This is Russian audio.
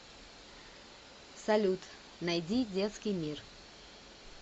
салют найди детский мир